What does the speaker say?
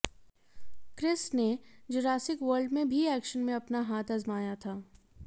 Chris ने Jurassic World में भी एक्शन में अपना हाथ आजमाया था